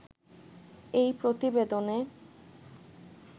এই প্রতিবেদনে